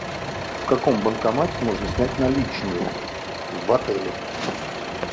в каком банкомате можно снять наличные в отеле